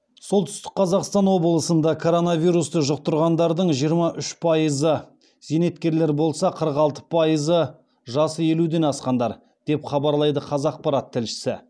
солтүстік қазақстан облысында коронавирусты жұқтырғандардың жиырма үш пайызы зейнеткерлер болса қырық алты пайызы жасы елуден асқандар деп хабарлайды қазақпарат тілшісі